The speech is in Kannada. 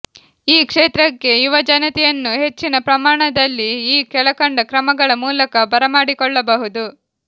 ಈ ಕ್ಷೇತ್ರಕ್ಕೆ ಯುವಜನತೆಯನ್ನು ಹೆಚ್ಚಿನ ಪ್ರಮಾಣದಲ್ಲಿ ಈ ಕೆಳಕಂಡ ಕ್ರಮಗಳ ಮೂಲಕ ಬರಮಾಡಿಕೊಳ್ಳಬಹುದು